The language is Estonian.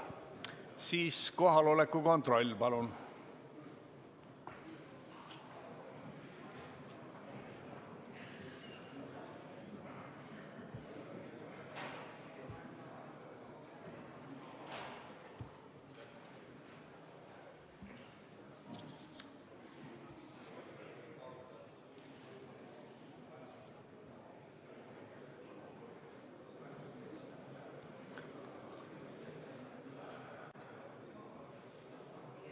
Siis kohaloleku kontroll, palun!